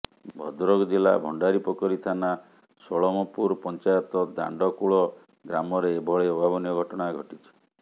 ଭଦ୍ରକ ଜିଲ୍ଲା ଭଣ୍ଡାରିପୋଖରୀ ଥାନା ଷୋଳମପୁର ପଞ୍ଚାୟତ ଦାଣ୍ଡକୁଳ ଗ୍ରାମରେ ଏଭଳି ଅଭାବନୀୟ ଘଟଣା ଘଟିଛି